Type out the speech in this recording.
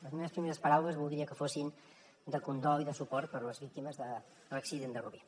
les meves primeres paraules voldria que fossin de condol i de suport per a les víctimes de l’accident de rubí